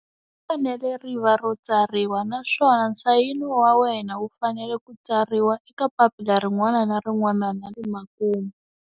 Ri fanele ri va ro tsariwa, naswona nsayino wa wena wu fanele ku tsariwa eka papila rin'wana na rin'wana na le makumu.